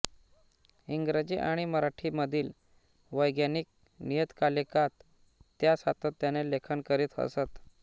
इंग्रजी आणि मराठीमधील वैज्ञानिक नियतकालिकांत त्या सातत्याने लेखन करीत असत